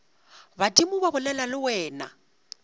badimo ba bolela le wena